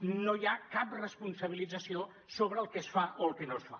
no hi ha cap responsabilització sobre el que es fa o el que no es fa